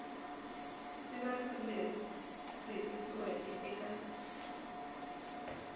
siva rito leri tikisiweke eka